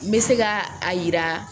N bɛ se ka a yira